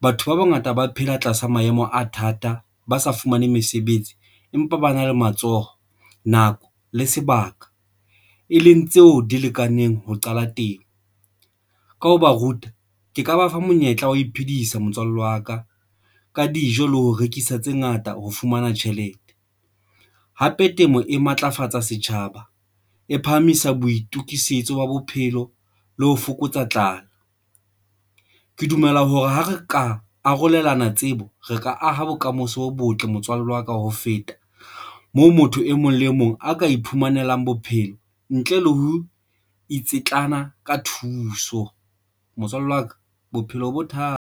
batho ba bangata ba phela tlasa maemo a thata, ba sa fumane mesebetsi, empa ba na le matsoho nako le sebaka, e leng tseo di lekaneng ho qala temo ka ho ba ruta. Ke ka ba fa monyetla wa ho iphedisa motswalle wa ka ka dijo le ho rekisa tse ngata ho fumana tjhelete. Hape temo e matlafatsa setjhaba e phahamisa boitokisetso wa bophelo le ho fokotsa tlala. Ke dumela hore ha re ka arolelana tsebo, re ka aha bokamoso bo botle motswalle wa ka ho feta moo, motho e mong le mong a ka iphumanelang bophelo ntle le ho itsitlalla ka thuso. Motswalle wa ka bophelo bothata.